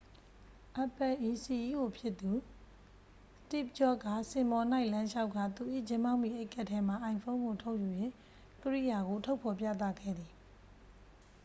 apple ၏ စီအီးအို ဖြစ်သူ စတိဗ်ဂျော့က စင်ပေါ်၌ လမ်းလျှောက်ကာ သူ၏ ဂျင်းဘောင်းဘီအိတ်ကပ်ထဲမှ အိုင်ဖုန်း ကို ထုတ်ယူ၍ ကိရိယာကို ထုတ်ဖော်ပြသခဲ့သည်